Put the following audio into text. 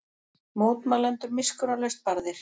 Mótmælendur miskunnarlaust barðir